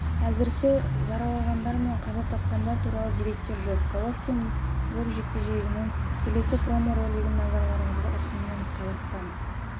әзірше жараланғандар мен қаза тапқандар туралы деректер жоқ головкин брук жекпе-жегінің келесі промо-ролигін назарларыңызға ұсынамыз қазақстан